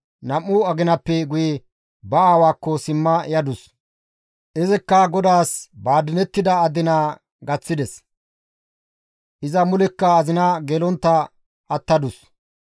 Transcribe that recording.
Nam7u aginappe guye ba aawaakko simma yadus; izikka GODAAS ba adinettida adinaa gaththides; iza mulekka azina gelontta attadus.